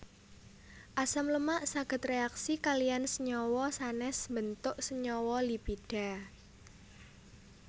Asam lemak saged réaksi kaliyan senyawa sanès mbentuk senyawa lipida